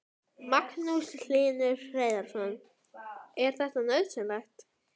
Magnús Hlynur Hreiðarsson: Er þetta nauðsynlegt?